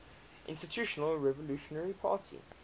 institutional revolutionary party